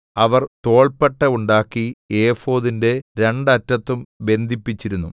അവർ തോൾപ്പട്ട ഉണ്ടാക്കി ഏഫോദിന്റെ രണ്ട് അറ്റത്തും ബന്ധിപ്പിച്ചിരുന്നു